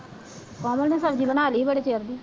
ਕੋਮਲ ਨੇ ਸਬਜ਼ੀ ਬਣਾ ਲਈ ਬੜੇ ਚਿਰ ਦੀ